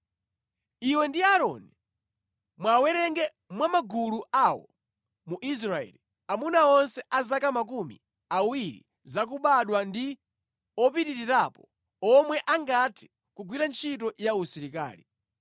Iwe ndi Aaroni mwawerenge mwa magulu awo mu Israeli, amuna onse a zaka makumi awiri zakubadwa ndi opitirirapo omwe angathe kugwira ntchito ya usilikali.